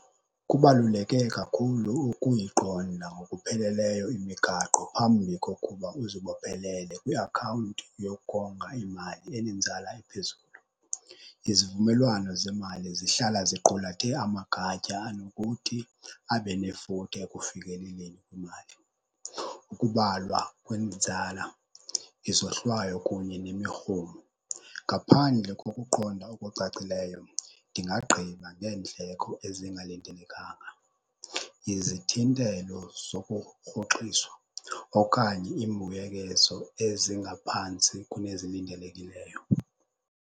Kubaluleke kakhulu ukuyiqonda ngokupheleleyo imigaqo phambi kokuba uzibophelele kwiakhawunti yokonga imali enenzala ephezulu. Izivumelwano zemali zihlala ziqulathe amagatya anokuthi abe nefuthe ekufikeleleni kwimali. Ukubalwa kwenzala, izohlwayo kunye nemirhumo. Ngaphandle kokuqonda okucacileyo ndingagqiba ngendleko ezingalindelekanga, izithintelo zokurhoxiswa okanye iimbuyekezo ezingaphantsi kunezilindelekileyo.